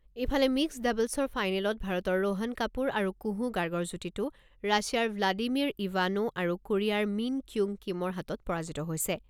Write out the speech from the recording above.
ইফালে, মিক্সড ডাবলছৰ ফাইনেলত ভাৰতৰ ৰোহণ কাপুৰ আৰু কুহু গাৰ্গৰ যুটিটো ৰাছিয়াৰ ভ্লাডিমিৰ ইভানো আৰু কোৰিয়াৰ মীন ক্যুং কিমৰ হাতত পৰাজিত হৈছে।